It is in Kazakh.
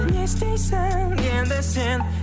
не істейсің енді сен